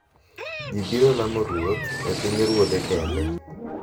Ji biro lamo ruoth e pinyruodhe kende